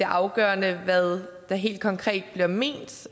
afgørende hvad der helt konkret bliver ment